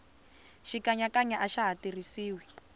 xikanyakanya axa ha tirhisiwi